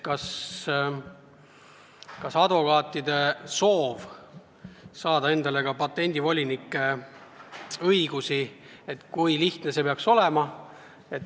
Tõesti, kui advokaadid soovivad saada ka patendivoliniku õigusi, siis kui lihtne see peaks olema.